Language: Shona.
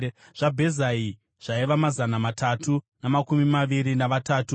zvaBhezai zvaiva mazana matatu namakumi maviri navatatu;